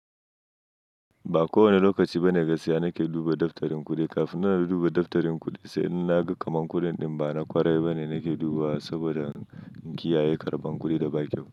Ba kowane lokaci bane gaskiya nake duba daftarin kudin Kafin ma na duba daftarin kuɗi, sai in naga kaman kudin ɗin. Ba na kwarai bane nake dubawa saboda in kiyaye karban kuɗi da ba kyau.